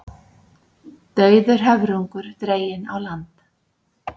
Dauður höfrungur dreginn á land